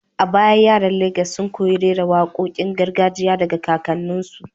A baya yaran Legas sun koyi rera wakokin gargajiya daga kakanninsu.